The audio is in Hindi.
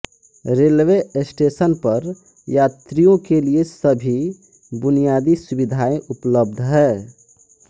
रेलवे स्टेशन पर यात्रियों के लिए सभी बुनियादी सुविधाएं उपलब्ध हैं